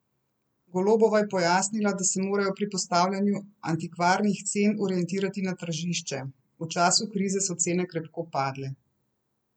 Golobova je pojasnila, da se morajo pri postavljanju antikvarnih cen orientirati na tržišče: 'V času krize so cene krepko padle.